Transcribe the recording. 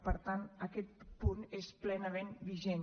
per tant aquest punt és plenament vigent